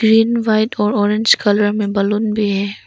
Green white और orange colour में balloon भी है।